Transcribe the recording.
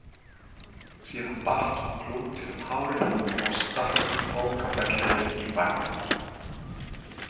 Síðan batt hún klútinn um hárið og stakk bókfellinu í barminn.